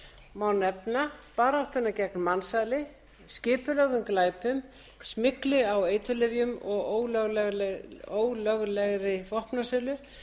má nefna baráttuna gegn mansali skipulögðum glæpum smygli á eiturlyfjum og ólöglegri vopnasölu